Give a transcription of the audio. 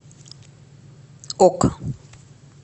ок